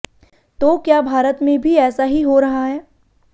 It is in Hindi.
तो क्या भारत में भी ऐसा ही हो रहा है